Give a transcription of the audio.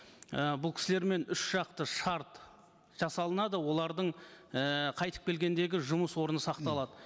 і бұл кісілермен үш жақты шарт жасалынады олардың ііі қайтып келгендегі жұмыс орны сақталады